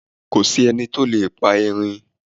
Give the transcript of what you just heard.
kòsí enití ó lè pa erin